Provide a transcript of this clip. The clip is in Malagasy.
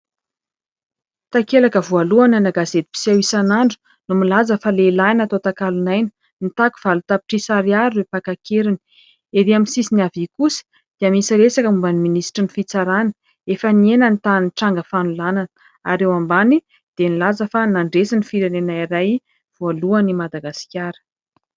Takelaka voalohany ana gazety mpiseho isan'andro no milaza fa lehilahy natao takalonaina : mitaky valo tapitrisa ariary ireo mpaka an-keriny. Etsy amin'ny havia kosa dia misy resaka momba ny minisitry ny fitsarana : efa nihena ny tahan'ny tranga fanolanana. Ary eo ambany dia nilaza fa nandresy ny firenena iray : voalohany i Madagasikara.